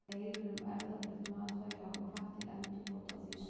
Deilur um erfðabreytt matvæli hafa hvatt til endurbóta á því sviði.